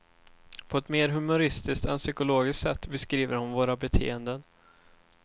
På ett mer humoristiskt än psykologiskt sätt beskriver hon våra beteenden.